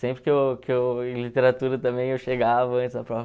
Sempre que eu que eu, em literatura também, eu chegava antes da prova.